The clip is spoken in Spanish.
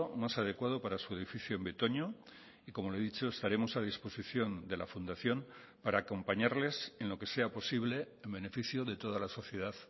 más adecuado para su edificio en betoño y como le he dicho estaremos a disposición de la fundación para acompañarles en lo que sea posible en beneficio de toda la sociedad